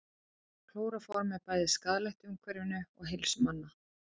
Klóróform er bæði skaðlegt umhverfinu og heilsu manna.